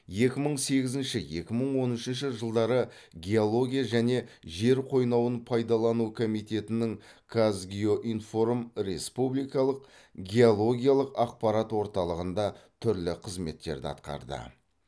екі мың сегізінші екі мың он үшінші жылдары геология және жер қойнауын пайдалану комитетінің қазгеоинформ республикалық геологиялық ақпарат орталығында түрлі қызметтерді атқарды